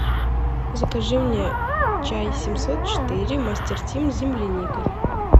закажи мне чай семьсот четыре мастер тим с земляникой